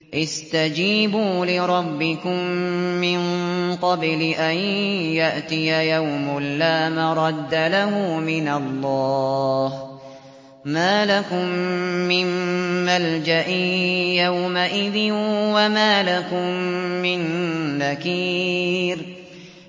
اسْتَجِيبُوا لِرَبِّكُم مِّن قَبْلِ أَن يَأْتِيَ يَوْمٌ لَّا مَرَدَّ لَهُ مِنَ اللَّهِ ۚ مَا لَكُم مِّن مَّلْجَإٍ يَوْمَئِذٍ وَمَا لَكُم مِّن نَّكِيرٍ